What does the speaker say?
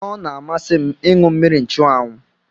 Ọ na-amasị m ịṅụ mmiri nchụanwụ